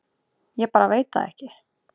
Ég bara veit það ekki